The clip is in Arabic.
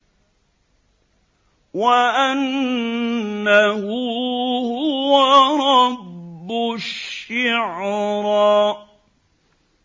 وَأَنَّهُ هُوَ رَبُّ الشِّعْرَىٰ